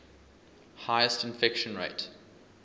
highest infection rate